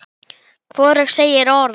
Hvorug segir orð.